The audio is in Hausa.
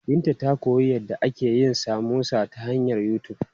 Binta ta koyi yadda ake yin samosa ta hanyar YouTube.